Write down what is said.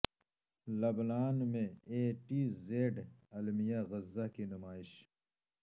لبنان میں A to Z المیہ غزہ کی نمائش